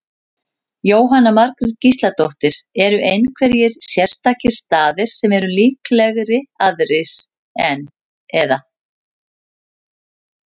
Jóhanna Margrét Gísladóttir: Eru einhverjir sérstakir staðir sem eru líklegri aðrir, eða?